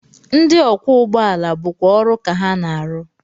Ndị ọkwọụgbọala bụkwa ọrụ ka ha na-arụ